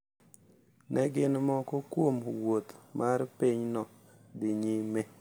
Ne gin moko kuom wuoth mar pinyno dhi nyime.